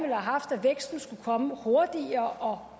have haft at væksten skulle komme hurtigere